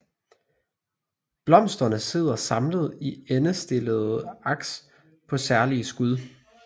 Blomsterne sidder samlet i endestillede aks på særlige skud